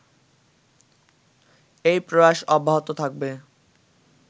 এই প্রয়াস অব্যাহত থাকবে